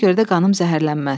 Ona görə də qanım zəhərlənməz.